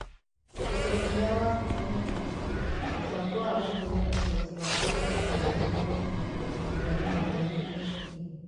Ũndũ ũrĩa wa bata nĩ atĩ, mũbango wa gũkũria ũhoti wa arutani wagĩrĩirũo kũrutwo ihinda rĩmwe na VLE.